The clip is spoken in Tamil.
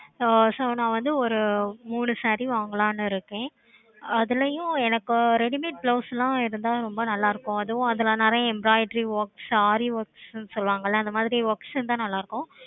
ஹம் so நான் வந்து ஒரு மூணு saree வாங்கலாம்னு இருக்கன் அதுலயும் எனக்கு readymate blouse இருந்த ரொம்ப நல்லாயிருக்கும் அதுவும் அதுல நிறைய embroidery workssaree works சொல்லுவாங்களா அந்த மாதிரி works இருந்த நல்ல இருக்கும்